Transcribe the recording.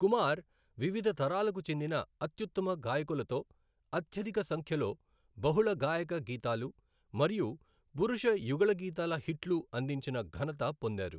కుమార్ వివిధ తరాలకు చెందిన అత్యుత్తమ గాయకులతో అత్యధిక సంఖ్యలో బహుళ గాయక గీతాలు మరియు పురుష యుగళగీతాల హిట్లు అందించిన ఘనత పొందారు.